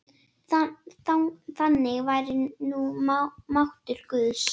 Þannig væri nú máttur guðs.